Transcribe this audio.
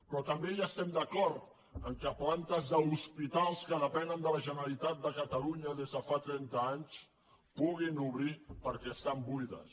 però també estem d’acord que plantes d’hospitals que depenen de la generalitat de catalunya des de fa trenta anys puguin obrir perquè estan buides